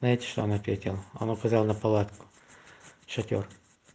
знаете что он ответил он указал на палатку шатёр